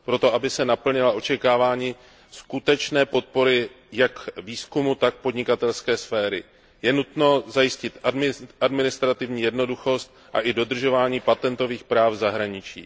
Proto, aby se naplnila očekávání skutečné podpory jak výzkumu, tak podnikatelské sféry, je nutno zajistit administrativní jednoduchost a i dodržování patentových práv v zahraničí.